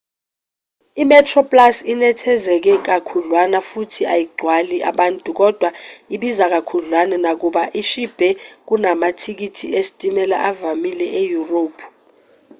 imetroplus inethezeke kakhudlwana futhi ayigcwali abantu kodwa ibiza kakhudlwana nakuba ishibhe kunamathikithi esitimela avamile eyurophu